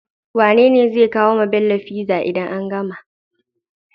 Wane zai kawo wa Bello pizza idan an gama?